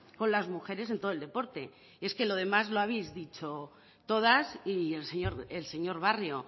con las mujeres en todo el deporte es que lo demás lo habéis dicho todas y el señor barrio